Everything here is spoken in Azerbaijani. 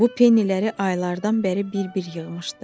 Bu penniləri aylardan bəri bir-bir yığmışdı.